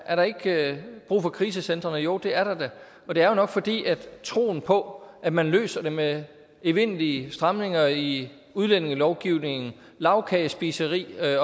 er der ikke brug for krisecentrene jo det er der da og det er jo nok fordi troen på at man løser det med evindelige stramninger i udlændingelovgivningen lagkagespiseri